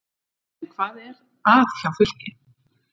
En hvað er að hjá Fylki?